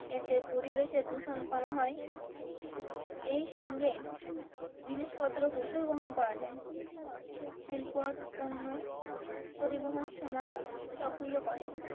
এতে পরিবেশে দূষণ কম হয় এই সঙ্গে জিনিস পত্র প্রচুর বহন করা যায় রেল পথ পণ্য পরিবহন সময়ও সক্রিয় করে।